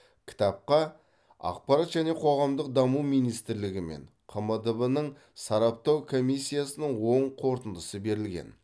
кітапқа ақпарат және қоғамдық даму министрлігі мен қмдб ның сараптау комиссиясының оң қорытындысы берілген